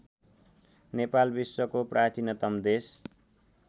नेपाल विश्वको प्राचीनतम देश